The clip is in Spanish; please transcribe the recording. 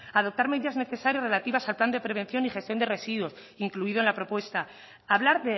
adoptar medidas necesarias relativas al plan de prevención y gestión de residuos incluido en la propuesta hablar